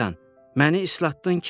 Məni islatdın ki!